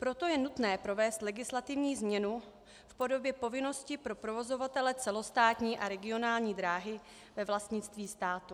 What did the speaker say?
Proto je nutné provést legislativní změnu v podobě povinnosti pro provozovatele celostátní a regionální dráhy ve vlastnictví státu.